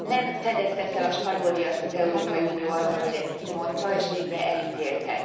Nem fedezte fel a spanyolviaszt az Európai Unió, hogy ezt kimondta, és végre elítélte.